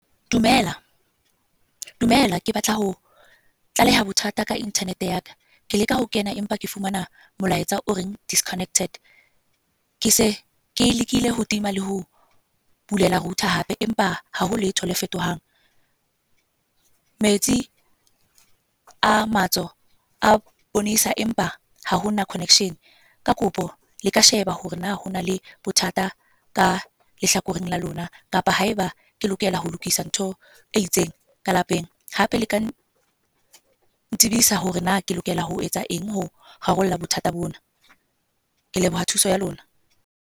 Dumela, dumela. Ke batla ho tlaleha bothata ka internet ya ka. Ke le ka ho kena, empa ke fumana molaetsa o reng disconnected. Ke se ke lekile ho tima le ho bulela router hape. Empa haho letho le fetohang. Metsi a matso a bonesa, empa ha hona connection. Ka kopo le ka sheba hore na hona le bothata ka lehlakoreng la lona kapa haeba ke lokela ho lokisa ntho e itseng ka lapeng. Hape le ka, ntsibisa hore na ke lokela ho etsa eng ho rarolla bothata bona. Ke leboha thuso ya lona.